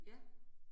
Ja